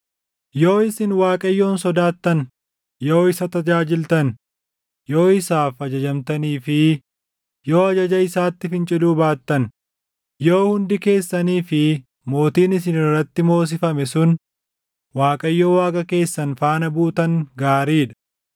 Yoo isin Waaqayyoon sodaattan, yoo isa tajaajiltan, yoo isaaf ajajamtanii fi yoo ajaja isaatti finciluu baattan, yoo hundi keessanii fi mootiin isin irratti moosifame sun Waaqayyo Waaqa keessan faana buutan gaarii dha!